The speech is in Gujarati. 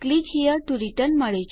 click here to return